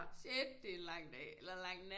Shit det er en lang dag eller lang nat